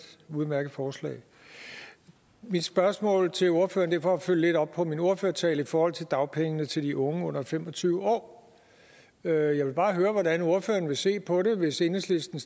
udmærket forslag mit spørgsmål til ordføreren er for at følge lidt op på min ordførertale i forhold til dagpengene til de unge under fem og tyve år jeg jeg vil bare høre hvordan ordføreren vil se på det hvis enhedslisten